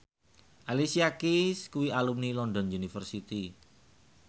Alicia Keys kuwi alumni London University